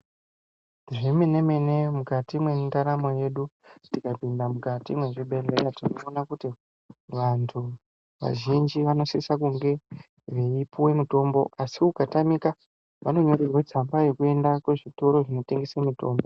Zvemenemene mukati mwendaramu yedu tikapinda mukati mwezvibhehleya tinoona kuti vantu vazhinji vanosise kunge veipuwe mutombo asi ukatamika vanonyorerwe tsamba yekuenda kuzvitoro zvinotengesa mutombo.